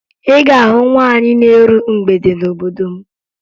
Ị ga-ahụ nwaanyị na-eru mgbede n'obodo m